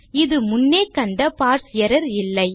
இது முன்னே கண்ட பார்ஸ் எர்ரர் இல்லை